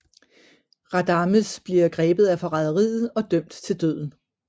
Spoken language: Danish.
Radames bliver grebet i forræderiet og dømt til døden